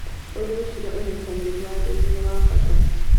ũreciria ũnyitanĩrĩ wa arĩmi nĩ wa bata.